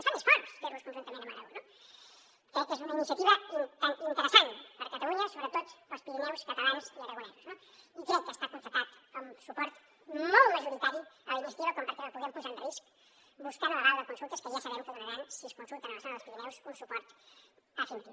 ens fa més forts fer los conjuntament amb aragó no crec que és una iniciativa interessant per a catalunya sobretot per als pirineus catalans i aragonesos no i crec que està constatat el suport molt majoritari a la iniciativa com perquè la puguem posar en risc buscant l’aval de consultes que ja sabem què donaran si es consulten a la zona dels pirineus un suport definitiu